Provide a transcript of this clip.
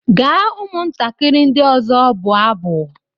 Gaa ụmụntakịrị ndị ọzọ bụọ abụ!